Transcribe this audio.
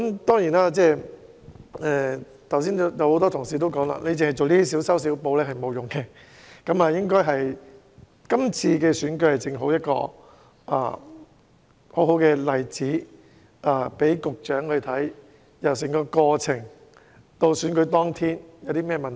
當然，正如剛才很多同事所說，當局這些小修小補是沒有效用的，而區議會選舉正好讓局長看到整個選舉過程以至選舉當天出現了甚麼問題。